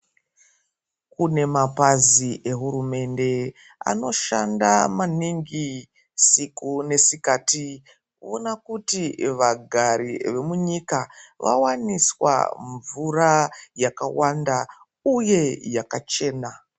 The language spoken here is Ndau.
Kune mapazi eHurumende anoshanda maningi usiku nesikati kuona kuti vagari vemunyika vawaniswa mvura yakawanda uye yakachena.